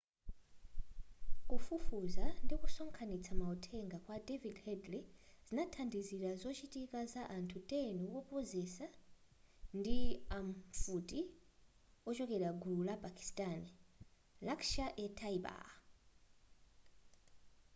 kufufuza ndikusonkhanitsa mauthenga kwa david headley zinathandizira zochitika za anthu 10 owopseza ndi amfuti ochokera gulu la pakistani laskhar-e-taiba